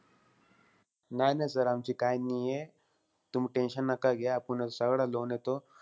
नाई-नाई sir आमची काई नाहीये. तुम्ही tension नका घ्या. आपुन सगळं loan हे तो,